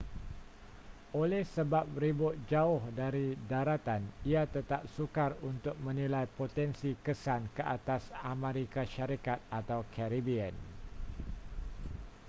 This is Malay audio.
oleh sebab ribut jauh dari daratan ia tetap sukar untuk menilai potensi kesan ke atas amerika syarikat atau caribbean